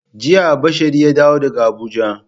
Jiya Bashari ya dawo daga Abuja.